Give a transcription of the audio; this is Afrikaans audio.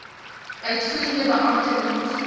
uitvoerende beampte moet